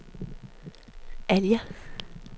Alger